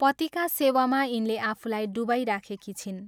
पतिका सेवामा यिनले आफूलाई डुबाइराखेकी छिन्।